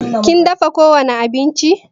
Kin dafa ko wani abinci?